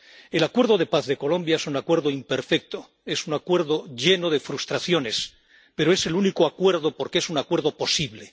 El acuerdo de paz de Colombia es un acuerdo imperfecto, es un acuerdo lleno de frustraciones, pero es el único acuerdo, porque es un acuerdo posible.